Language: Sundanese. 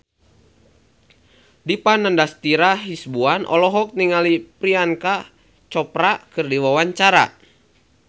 Dipa Nandastyra Hasibuan olohok ningali Priyanka Chopra keur diwawancara